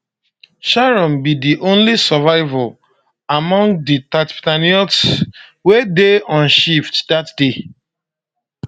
sharon be di only survivor among di tatzpitaniyot wey dey on shift dat day